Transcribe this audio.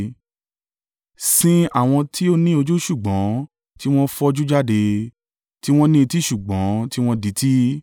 Sin àwọn tí ó ní ojú ṣùgbọ́n tí wọ́n fọ́jú jáde, tí wọ́n ní etí ṣùgbọ́n tí wọn dití.